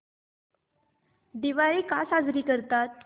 दिवाळी का साजरी करतात